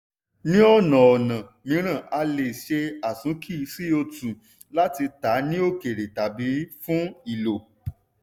ní ọ̀nà ọ̀nà mìíràn a lè ṣe àsúnkì co2 láti tà á ní òkère tàbi fún ìlò.